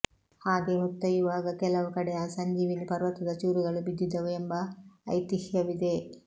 ಹಾಗೆ ಹೊತ್ತೊಯ್ಯುವಾಗ ಕೆಲವು ಕಡೆ ಆ ಸಂಜೀವಿನಿ ಪರ್ವತದ ಚೂರುಗಳು ಬಿದ್ದಿದ್ದವು ಎಂಬ ಐತಿಹ್ಯವಿದೆ